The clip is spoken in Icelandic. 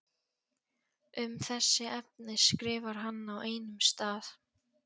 Um þessi efni skrifar hann á einum stað